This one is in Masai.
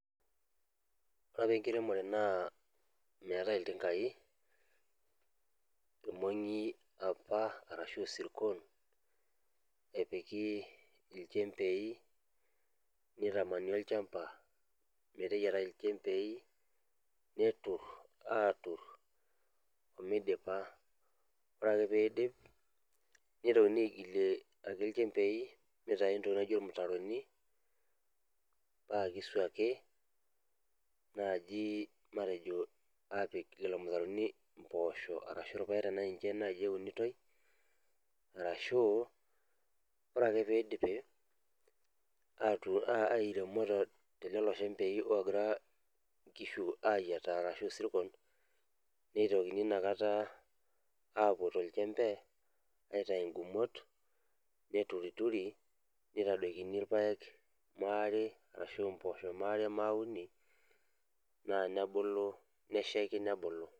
Ore apa enkiremore naa meetae iltinkai irmong'i apa arashu isirkon epiki ilchembei nitamani olchamba meteyiatai ilchembei neturr aturr omeidipa ore ake peidip nitokini aigilie ake ilchembei mitai intokitin naijio ilmutaroni paa kisuaki naaji matejo aapik lelo mutaroni impoosho arashu irpayek tanaa ninche naai eunitoi arashu ore ake pidipi atu airemo telelo shembei ogira inkishu ayiataa arashu isirkon neitokini ina kata apuo tolchembe aitau ingumot neturituri nitadoikini irpayek maare arashu impoosho maare mauni naa nebulu neshaiki nebulu.